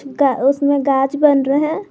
का उसमें गाज बन रहा हैं।